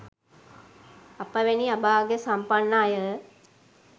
අප වැනි අභාග්‍ය සම්පන්න අය